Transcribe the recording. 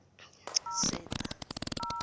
setha